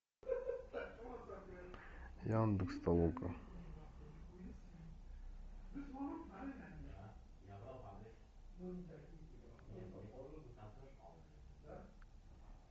яндекс толока